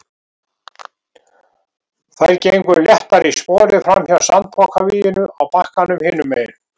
Þær gengu léttar í spori framhjá sandpokavíginu á bakkanum hinum megin.